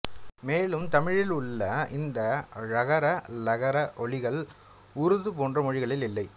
மேலும் தமிழில் உள்ள இந்த ழகர ளகர ஒலிகள் உருது போன்ற மொழிகளில் இல்லை